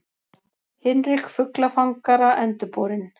Hinrik fuglafangara endurborinn.